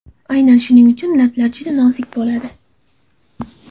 Aynan shuning uchun lablar juda nozik bo‘ladi.